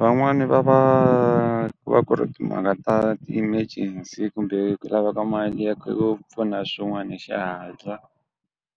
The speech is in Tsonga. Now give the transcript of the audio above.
Van'wani va va ku va ku ri timhaka ta ti-emergency kumbe ku lava ka mali ya ku pfuna swin'wani hi xihatla,